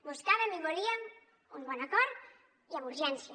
buscàvem i volíem un bon acord i amb urgència